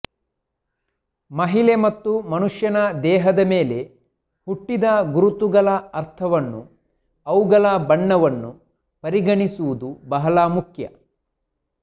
ಮಹಿಳೆ ಮತ್ತು ಮನುಷ್ಯನ ದೇಹದ ಮೇಲೆ ಹುಟ್ಟಿದ ಗುರುತುಗಳ ಅರ್ಥವನ್ನು ಅವುಗಳ ಬಣ್ಣವನ್ನು ಪರಿಗಣಿಸುವುದು ಬಹಳ ಮುಖ್ಯ